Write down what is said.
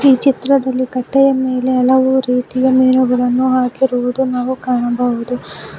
ಈ ಚಿತ್ರದಲ್ಲಿ ಕಟ್ಟೆಯ ಮೇಲೆ ಹಲವು ರೀತಿಯ ಮೀನುಗಳನ್ನು ಹಾಕಿರುವುದು ನಾವು ಕಾಣಬಹುದು.